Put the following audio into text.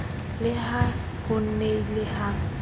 le ha ho nnile ha